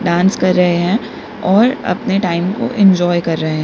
Dance कर रहे हैं और अपने टाइम को इंजॉय कर रहे हैं।